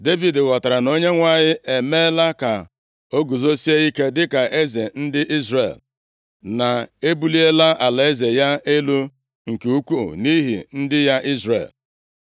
Devid ghọtara na Onyenwe anyị emeela ka o guzosie ike dịka eze ndị Izrel, na ebuliela alaeze ya elu nke ukwuu nʼihi ndị ya Izrel.